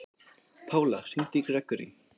Pála, hringdu í Grégory.